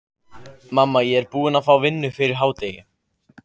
Mamma, ég er búinn að fá vinnu fyrir hádegi.